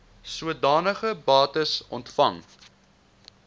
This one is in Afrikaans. sodanige bates ontvang